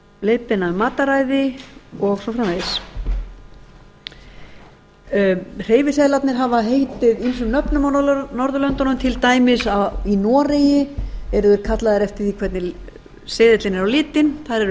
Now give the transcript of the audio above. leiðbeina um mataræði og svo framvegis hreyfiseðlarnir hafa heitið ýmsum nöfnum á norðurlöndunum til dæmis í noregi eru þeir kallaðir eftir því hvernig seðillinn er á litinn þar eru